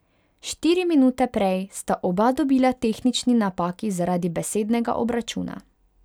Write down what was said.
Štiri minute prej sta oba dobila tehnični napaki zaradi besednega obračuna.